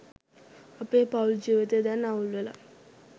අපේ පවුල් ජීවිතය දැන් අවුල්වෙලා.